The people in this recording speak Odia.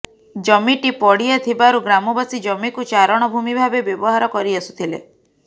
ଜମିଟି ପଡିଆ ଥିବାରୁ ଗ୍ରାମବାସୀ ଜମିକୁ ଚାରଣ ଭୂମି ଭାବେ ବ୍ୟବହାର କରିଆସୁଥିଲେ